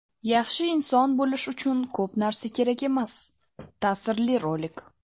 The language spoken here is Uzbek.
Yaxshi inson bo‘lish uchun ko‘p narsa kerak emas – ta’sirli rolik!.